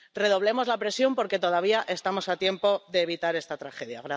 Redoblemos la presión porque todavía estamos a tiempo de evitar esta tragedia.